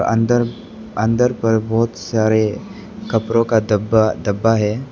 अंदर अंदर पर बहोत सारे कपड़ों का डब्बा डब्बा है।